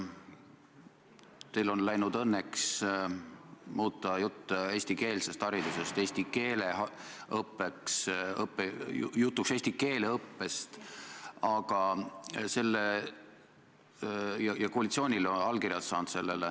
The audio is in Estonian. Teil on läinud õnneks muuta jutt eestikeelsest haridusest jutuks eesti keele õppest, ja olete sellele saanud ka koalitsioonilt allkirjad.